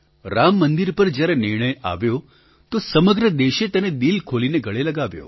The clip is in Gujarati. રામ મંદિર પર જ્યારે નિર્ણય આવ્યો તો સમગ્ર દેશે તેને દિલ ખોલીને ગળે લગાવ્યો